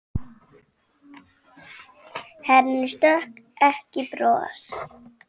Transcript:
Henni stökk ekki bros.